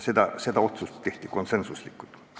See otsus tehti konsensuslikult.